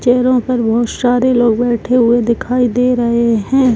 चेयरो पर बहुत सारे लोग बैठे हुए दिखाई दे रहे है।